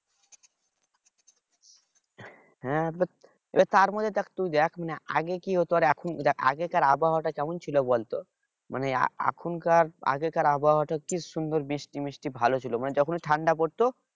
হ্যাঁ তার মধ্যে দেখ তুই দেখ মানে আগে কি হোত আর এখন দেখ আগেকার আবহাওয়া টা কেমন ছিলো বল তো মানে এখনকার আগেকার আবহাওয়া টা কি সুন্দর বৃষ্টি মিষ্টি ভালো ছিল মানে যখনই ঠান্ডা পড়তো